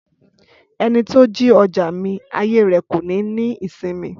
Ẹni tó jí ọjà mi, ayé rẹ̀ kò ní ní ìsinmi